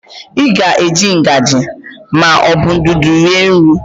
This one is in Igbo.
Ị ga-eji ngaji ma ọ bụ ndụdụ rie nri?